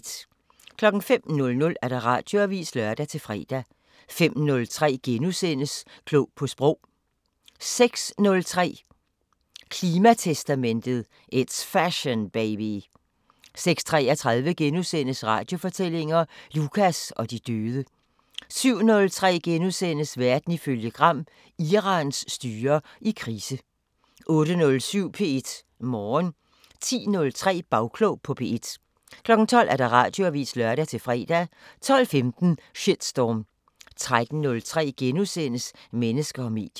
05:00: Radioavisen (lør-fre) 05:03: Klog på sprog * 06:03: Klimatestamentet: It's Fashion, baby! 06:33: Radiofortællinger: Lukas og de døde * 07:03: Verden ifølge Gram: Irans styre i krise * 08:07: P1 Morgen 10:03: Bagklog på P1 12:00: Radioavisen (lør-fre) 12:15: Shitstorm 13:03: Mennesker og medier *